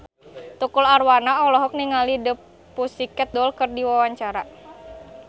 Tukul Arwana olohok ningali The Pussycat Dolls keur diwawancara